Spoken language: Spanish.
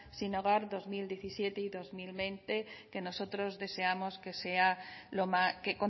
sin hogar dos mil diecisiete y dos mil veinte que nosotros deseamos